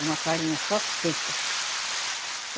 É uma farinha só seca.